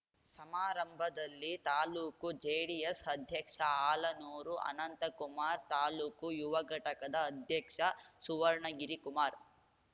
ಸಮಾರಂಭದಲ್ಲಿ ತಾಲ್ಲೂಕು ಜೆಡಿಎಸ್ ಅಧ್ಯಕ್ಷ ಹಾಲನೂರು ಅನಂತಕುಮಾರ್ ತಾಲ್ಲೂಕು ಯುವ ಘಟಕದ ಅಧ್ಯಕ್ಷ ಸುವರ್ಣಗಿರಿ ಕುಮಾರ್